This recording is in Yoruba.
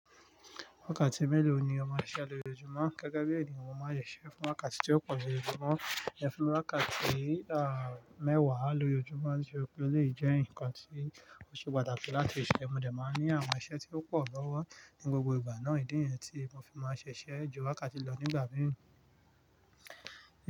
Wákàtí mélòó ni o mọ á ṣe isé lo ojúmọ́ gẹ́gẹ́ bí ènìyàn? Mo máa sé iṣẹ fún wákàtí tí ó pọ̀ ju ojúmọ́ lọ, ẹ́ fun mi wákàtí, à, mẹ́wàá lo jojúmọ́ díè pe ó lè jẹ́ ǹkan tí ó ṣe pàtàkì láti ṣe ẹ́. Mo de máa ní àwọn iṣẹ́ tí ó pọ̀ lọ́wọ́ ní gbogbo ìgbà náà, ìdí niyẹn tí mo fi máa ṣiṣẹ̀ jó wákàtí lò nígbà mìíràn.